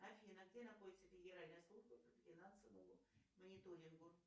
афина где находится федеральная служба по финансовому мониторингу